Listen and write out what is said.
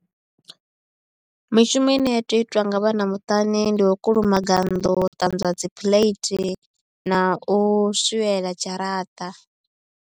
Mishumo ine ya tea u itwa nga vhana muṱani ndi u kulumaga nnḓu, u ṱanzwa dzi phulethi na u swiela dzharaṱa.